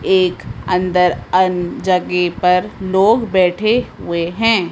एक अन्दर अं जगह पर लोग बैठे हुए हैं।